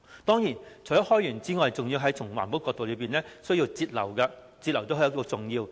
當然，除了開源之外，還要從環保的角度來節流，節流亦非常重要。